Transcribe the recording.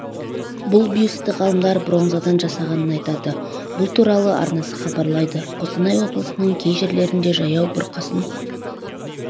бұл бюстті ғалымдар бронзадан жасағанын айтады бұл туралы арнасы хабарлайды қостанай облысының кей жерлерінде жаяу бұрқасын